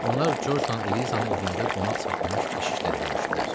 Onlar Corcla Elizanı evində qonaq saxlamış keşişlə də görüşdülər.